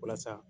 Walasa